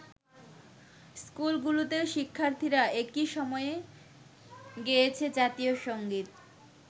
স্কুলগুলোতেও শিক্ষার্থীরা একি সময়ে গেয়েছে জাতীয় সঙ্গীত।